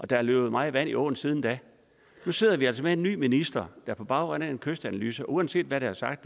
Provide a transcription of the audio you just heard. der er løbet meget vand i åen siden da nu sidder vi altså med en ny minister og på baggrund af en kystanalyse uanset hvad der er sagt